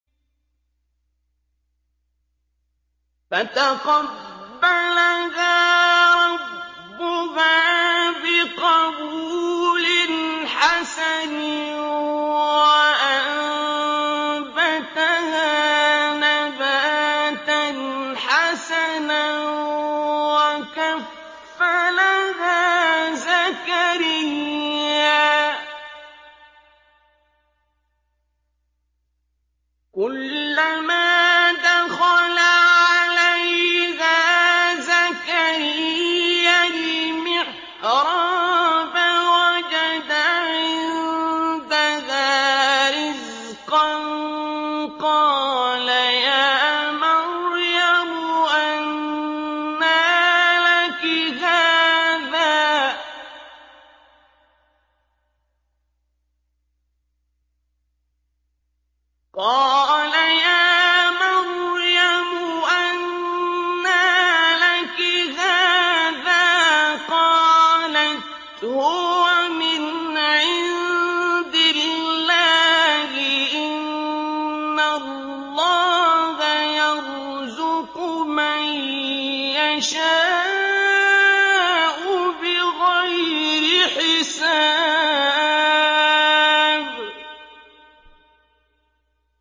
فَتَقَبَّلَهَا رَبُّهَا بِقَبُولٍ حَسَنٍ وَأَنبَتَهَا نَبَاتًا حَسَنًا وَكَفَّلَهَا زَكَرِيَّا ۖ كُلَّمَا دَخَلَ عَلَيْهَا زَكَرِيَّا الْمِحْرَابَ وَجَدَ عِندَهَا رِزْقًا ۖ قَالَ يَا مَرْيَمُ أَنَّىٰ لَكِ هَٰذَا ۖ قَالَتْ هُوَ مِنْ عِندِ اللَّهِ ۖ إِنَّ اللَّهَ يَرْزُقُ مَن يَشَاءُ بِغَيْرِ حِسَابٍ